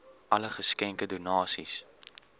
alle geskenke donasies